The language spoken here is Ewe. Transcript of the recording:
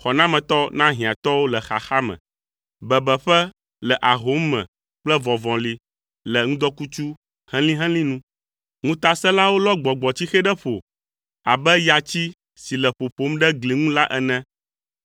xɔnametɔ na hiãtɔwo le xaxa me, bebeƒe le ahom me kple vɔvɔli le ŋdɔkutsu helĩhelĩ nu. Ŋutasẽlawo lɔ gbɔgbɔtsixe ɖe ƒo abe yatsi si le ƒoƒom ɖe gli ŋu la ene,